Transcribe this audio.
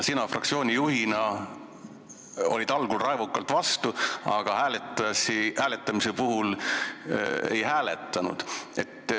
Sina fraktsiooni juhina olid algul raevukalt vastu, aga ei hääletanud.